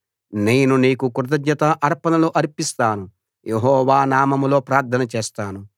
నేను నీకు కృతజ్ఞత అర్పణలు అర్పిస్తాను యెహోవా నామంలో ప్రార్థన చేస్తాను